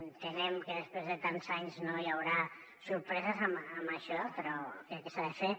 entenem que després de tants anys no hi haurà sorpreses en això però crec que s’ha de fer